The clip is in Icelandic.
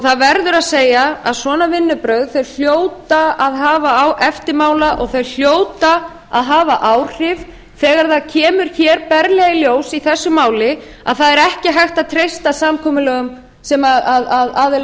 það verður að segja að svona vinnubrögð hljóta að hafa eftirmála og þau hljóta að hafa áhrif þegar það kemur hér berlega í ljós í þessu máli að það er ekki hægt að treysta samkomulagi sem aðilar vinnumarkaðarins